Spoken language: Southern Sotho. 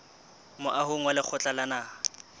moahong wa lekgotla la naha